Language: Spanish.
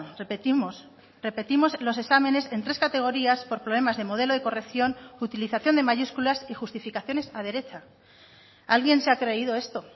repetimos repetimos los exámenes en tres categorías por problemas de modelo de corrección utilización de mayúsculas y justificaciones a derecha alguien se ha creído esto